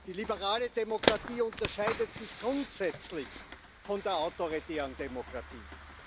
Die liberale Demokratie unterscheidet sich grundsätzlich von der autoritären Demokratie.